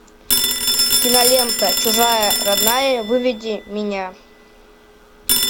кинолента чужая родная выведи меня